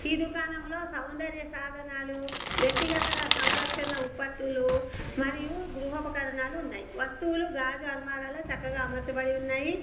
ఈ దుకాణంలో సౌందర్య సాధనాలు వ్యక్తిగత గా సంరక్షణ ఉపత్తులు మరియు గృహోపకరణాలు ఉన్నాయి వస్తువులు గాజు అల్మరాలో చక్కగా అమర్చబడి ఉన్నాయి.